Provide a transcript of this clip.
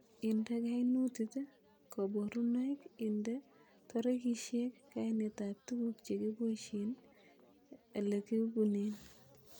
Inde kainutit koborunoik inde torigisiek, kainet ab tuguk chekiboishen, ele kiibunen